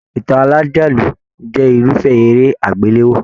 Ìtàn alájálù jẹ irufẹ eré agbelewo.